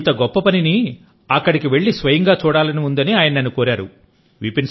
ఇంత గొప్ప పనిని అక్కడికి వెళ్లి స్వయంగా చూడాలని ఉందని ఆయన నన్ను కోరారు